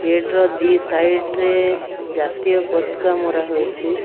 Gate ର ଦି side ରେ ଜାତୀୟ ପତକା ମରାହୋଇଚି ।